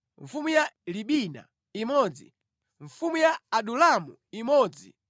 mfumu ya Libina imodzi mfumu ya Adulamu imodzi